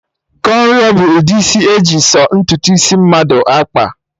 Kọnro bụ ụdị isi eji sọ ntutu isi mmadụ akpa